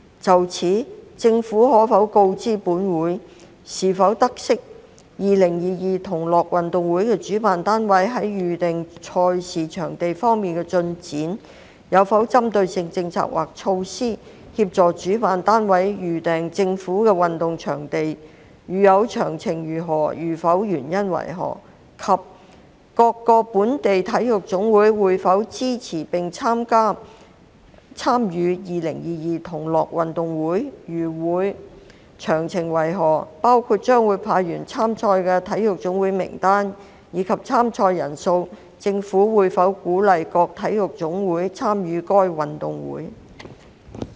就此，政府可否告知本會，是否知悉：一2022同樂運動會的主辦單位在預訂賽事場地方面的進展；有否針對性政策或措施，協助主辦單位預訂政府的運動場地；如有，詳情為何；如否，原因為何；及二各個本地體育總會會否支持並參與2022同樂運動會；如會，詳情為何，包括將會派員參賽的體育總會名單，以及參賽人數；政府會否鼓勵各體育總會參與該運動會？